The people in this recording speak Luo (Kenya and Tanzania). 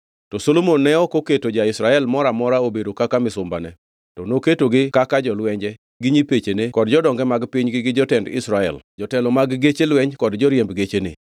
To Solomon ne ok oketo ja-Israel moro amora obedo kaka misumbane, to noketogi kaka jolwenje, gi nyipechene kod jodonge mag pinygi gi jotend lweny, jotelo mag geche lweny kod joriemb gechene.